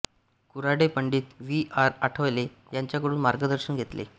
Karhade Pandit V R Athavale यांच्याकडून मार्गदर्शन घेतले